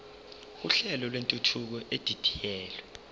uhlelo lwentuthuko edidiyelwe